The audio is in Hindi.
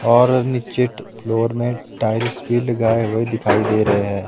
और नीचे फ्लोर में टाइल्स भी लगाए हुए दिखाई दे रहे हैं।